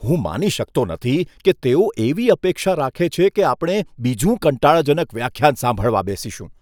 હું માની શકતો નથી કે તેઓ એવી અપેક્ષા રાખે છે કે આપણે બીજું કંટાળાજનક વ્યાખ્યાન સાંભળવા બેસીશું.